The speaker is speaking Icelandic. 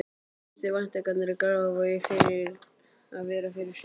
Hvernig finnst þér væntingarnar í Grafarvogi vera fyrir sumarið?